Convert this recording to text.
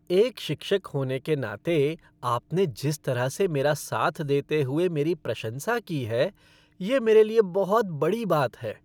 एक शिक्षक होने के नाते आपने जिस तरह से मेरा साथ देते हुए मेरी प्रशंसा की है, ये मेरे लिए बहुत बड़ी बात है।